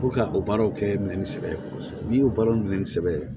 ka o baaraw kɛ minɛn sɛbɛ ye n'i y'o baaraw minɛ ni sɛbɛ ye